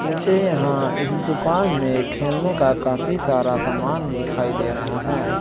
मुझे यहां इस दुकान में खेलने का काफी सारा सामान दिखाई दे रहा है।